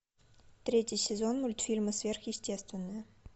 третий сезон мультфильма сверхъестественное